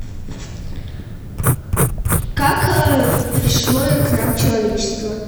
как пришло к нам человечество